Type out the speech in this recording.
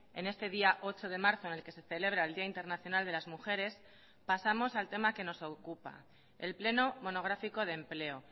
en este día ocho de marzo en el que se celebra el día internacional de las mujeres pasamos al tema que nos ocupa el pleno monográfico de empleo